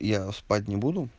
я спать не буду